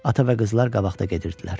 Ata və qızlar qabaqda gedirdilər.